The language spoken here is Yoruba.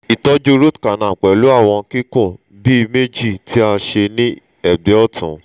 itọju root canal pẹlu awọn kikun bi meji ti a ṣe ni ẹgbẹ ọtun